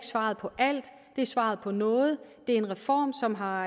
svaret på alt det er svaret på noget det er en reform som har